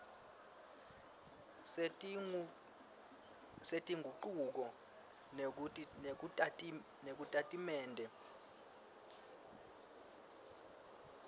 setingucuko kusitatimende sekusungula